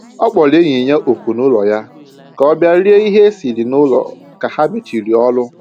Ọ kpọrọ enyi ya oku n'ụlọ ya ka ọ bịa rie ihe e siri n'ụlọ ka ha mechiri ọrụ